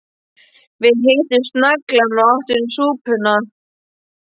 Við hituðum naglann og áttum súpuna